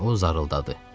Və o zarıldadı.